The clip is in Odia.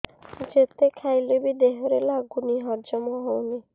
ଯେତେ ଖାଇଲେ ବି ଦେହରେ ଲାଗୁନି ହଜମ ହଉନି